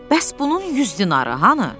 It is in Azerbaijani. Bəs bunun 100 dinarı hanı?